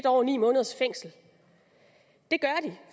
år og ni måneders fængsel